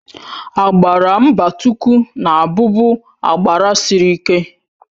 Agbara mbatuku na-abubu agbara sịrị ike.